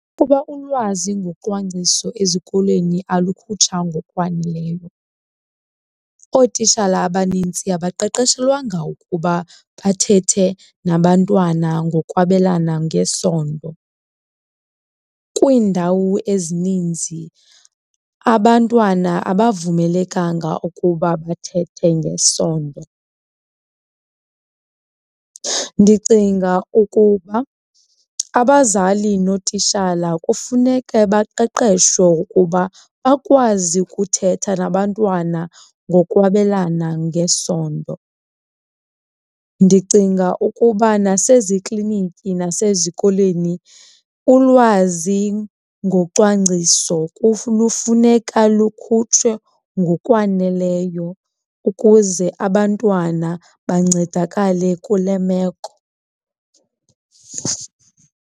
Kuba ulwazi ngocwangciso ezikolweni alukhutshwa ngokwaneleyo, ootitshala abanintsi abaqeqeshelwanga ukuba bathethe nabantwana ngokwabelana ngesondo. Kwiindawo ezininzi abantwana abavumelekanga ukuba bathethe ngesondo. Ndicinga ukuba abazali nootitshala kufuneke baqeqeshwe ukuba bakwazi ukuthetha nabantwana ngokwabelana ngesondo. Ndicinga ukuba nasezikliniki nasezikolweni ulwazi ngocwangciso lufuneka lukhutshwe ngokwaneleyo ukuze abantwana bancedakale kule meko.